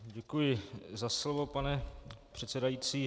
Děkuji za slovo, pane předsedající.